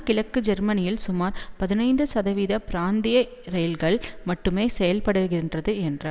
கிழக்கு ஜெர்மனியில் சுமார் பதினைந்து சதவீத பிராந்திய இரயில்கள் மட்டுமே செயல்படுகின்றது என்றார்